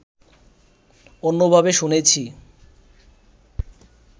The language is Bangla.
অন্যভাবে শুনেছি